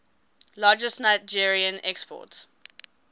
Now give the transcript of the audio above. largest nigerien export